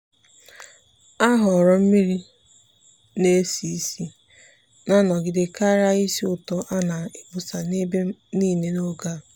ọ́ họ̀ọ̀rọ̀ mmiri-na-esi ísì na-anogide kàrị́a ísì ụ́tọ́ á nà-ákpọ́sá n’ebe nìile n’ógè a.